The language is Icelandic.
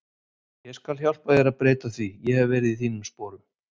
Ég skal hjálpa þér að breyta því, ég hef verið í þínum sporum.